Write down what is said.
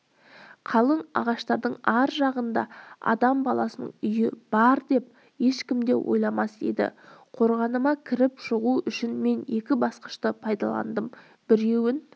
қалың ағаштардың ар жағында адам баласының үйі бар деп ешкім де ойламас еді қорғаныма кіріп-шығу үшін мен екі басқышты пайдаландым біреуін